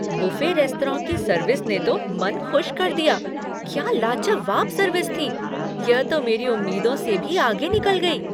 Buffet restaurant की service ने तो मन खुश कर दिया। क्या लाजवाब सर्विस थी। यह तो मेरी उम्मीदों से भी आगे निकल गई!